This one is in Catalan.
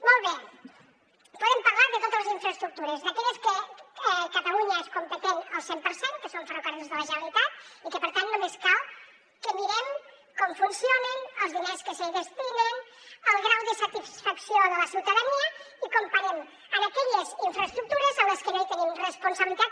molt bé podem parlar de totes les infraestructures d’aquelles que catalunya n’és competent al cent per cent que són ferrocarrils de la generalitat i que per tant només cal que mirem com funcionen els diners que s’hi destinen el grau de satisfacció de la ciutadania i ho comparem amb aquelles infraestructures en les que no hi tenim responsabilitat